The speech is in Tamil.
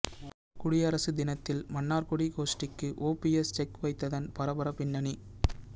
குடியரசு தினத்தில் மன்னார்குடி கோஷ்டிக்கு ஓபிஎஸ் செக் வைத்ததன் பரபர பின்னணி